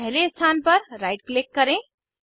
पहले स्थान पर राइट क्लिक करें